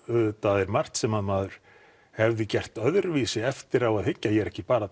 auðvitað er margt sem maður hefði gert öðruvísi eftir á að hyggja ég er ekki bara